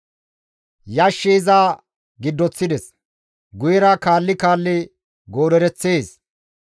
«Yashshi iza giddoththides; guyera kaalli kaalli goodereththees.